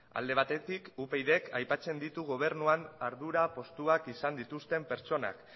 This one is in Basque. alde batetik upydk aipatzen ditu gobernuan ardura postuak izan dituzten pertsonak